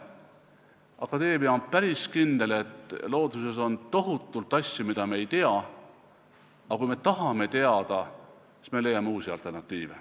Akadeemia on päris kindel, et looduses on tohutult asju, mida me ei tea, aga kui me tahame teada, siis me leiame uusi alternatiive.